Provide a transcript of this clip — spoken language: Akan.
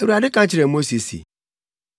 Awurade ka kyerɛɛ Mose se,